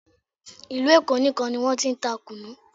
Ìlú Èkó nìkan ni wọ́n ti ń ta kùnnú